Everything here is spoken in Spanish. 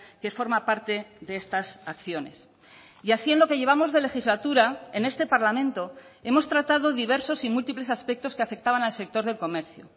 que forma parte de estas acciones y así en lo que llevamos de legislatura en este parlamento hemos tratado diversos y múltiples aspectos que afectaban al sector del comercio